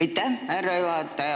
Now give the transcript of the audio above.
Aitäh, härra juhataja!